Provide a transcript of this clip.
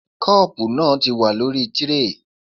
Kọ́ọ̀bu náà ti wà lórí tíréè